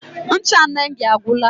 Ncha Nengi agwụla.